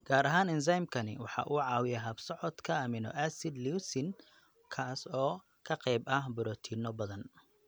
Gaar ahaan, enzymkani waxa uu caawiyaa habsocodka amino acid leucine, kaas oo qayb ka ah borotiinno badan.